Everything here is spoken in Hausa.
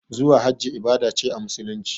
Zuwa hajji ibada ce a musulunci